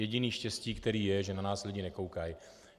Jediné štěstí, které je, že na nás lidi nekoukají.